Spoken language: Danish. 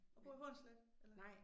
Og bor i Hornslet eller